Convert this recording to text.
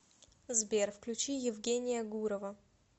сбер включи евгения гурова